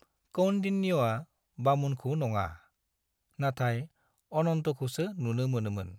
कौन्डिन्यआ बामुनखौ नङा, नाथाय अनन्तखौसो नुनो मोनोमोन।